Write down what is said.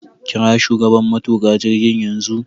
Kira shugaban matuƙa jirgin yanzu